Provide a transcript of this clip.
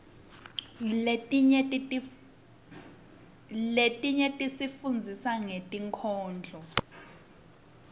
letinye tisifundzisa ngetinkhondlo